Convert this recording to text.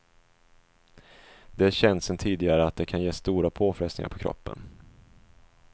Det är känt sedan tidigare att det kan ge stora påfrestningar på kroppen.